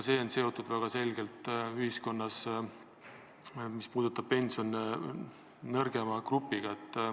See, mis puudutab pensione, on väga selgelt seotud ühiskonna nõrgema grupiga.